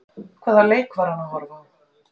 Hvaða leik var hann að horfa á?